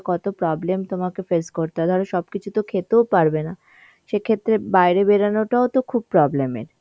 কত problem তোমাকে face করতে হয়, ধর সবকিছু তো খেতেও পারবেনা সে ক্ষেত্রে বাইরে বেরোনোটাও তো খুব problem এর.